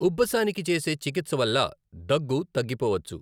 ఉబ్బసానికి చేసే చికిత్స వల్ల దగ్గు తగ్గిపోవచ్చు.